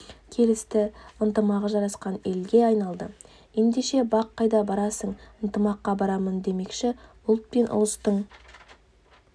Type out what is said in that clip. келісті ынтымағы жарасқан елге айналды ендеше бақ қайда барасың ынтымаққа барамын демекші ұлт пен ұлыстың